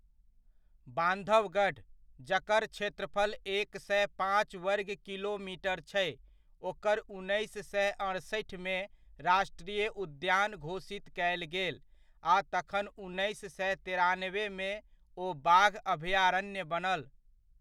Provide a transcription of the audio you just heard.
बान्धवगढ़, जकर क्षेत्रफल एक सए पाँच वर्ग किलोमीटर छै, ओकरा उन्नैस सए अड़सठिमे राष्ट्रीय उद्यान घोषित कयल गेल, आ तखन उन्नैस सए तेरानबेमे ओ बाघ अभयारण्य बनल।